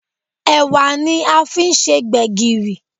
Ẹ̀wà ni a fi ń se gbẹ̀gìrì